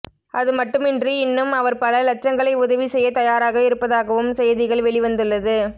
அதுமட்டுமின்றி இன்னும் அவர் பல லட்சங்களை உதவி செய்ய தயாராக இருப்பதாகவும் செய்திகள் வெளிவந்துள்ளது